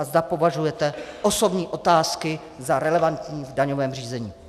A zda považujete osobní otázky za relevantním v daňovém řízení.